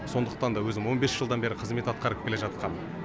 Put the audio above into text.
сондықтан да өзім он бес жылдан бері қызмет атқарып келе жатқам